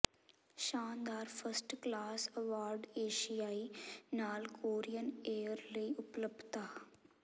ਸ਼ਾਨਦਾਰ first class award ਏਸ਼ੀਆਈ ਨਾਲ ਕੋਰੀਅਨ ਏਅਰ ਲਈ ਉਪਲਬਧਤਾ